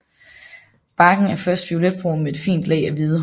Barken er først violetbrun med et fint lag af hvide hår